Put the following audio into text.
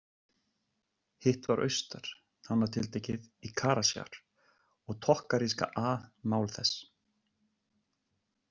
Hitt var austar, nánar tiltekið í Karasjar, og tokkaríska A mál þess.